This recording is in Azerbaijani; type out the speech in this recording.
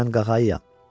Mən qağayıyam.